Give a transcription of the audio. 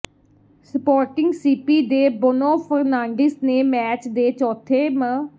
supporting CP ਦੇ Bruno Fernandes ਨੇ match ਦੇ ਚੌਥੇ ਮ